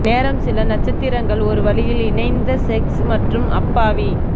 நேரம் சில நட்சத்திரங்கள் ஒரு வழியில் இணைந்த செக்ஸ் மற்றும் அப்பாவி